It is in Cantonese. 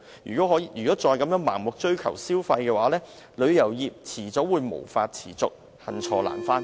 如果再盲目追求消費，旅遊業早晚會無法持續，恨錯難返。